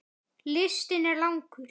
Listinn er langur.